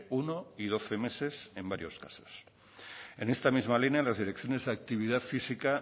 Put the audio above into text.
uno y doce meses en varios casos en esta misma línea las direcciones de actividad física